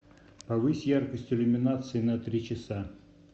повысь яркость иллюминации на три часа